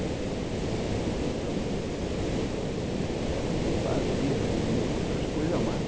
Então, era o que eu fazia e outras coisas a mais.